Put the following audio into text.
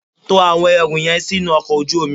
To àwọn ẹrù yẹn sínú ọkọ̀ ojú omi.